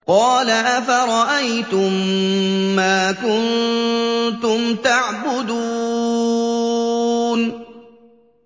قَالَ أَفَرَأَيْتُم مَّا كُنتُمْ تَعْبُدُونَ